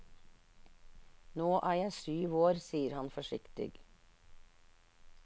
Nå er jeg syv år, sier han forsiktig.